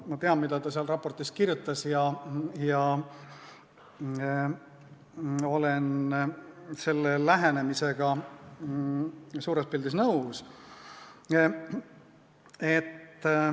Ma tean, mida ta selles raportis kirjutas, ja olen selle lähenemisega suures pildis nõus.